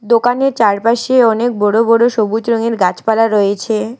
দোকানে চারপাশে অনেক বড় বড় সবুজ রঙের গাছপালা রয়েছে।